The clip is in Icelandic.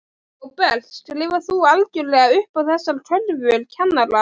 Róbert: Skrifar þú algjörlega upp á þessar kröfur kennara?